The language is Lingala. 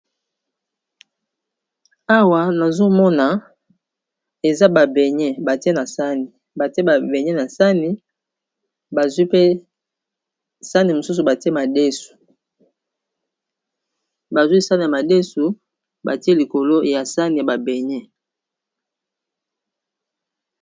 Awa nazomona eza ba beignes batiye na sahani, batiye babenye na sahani bazwi pe sahani mususu ba tiye sahani ya madesu batiye likolo ya sahani ya ba beignes.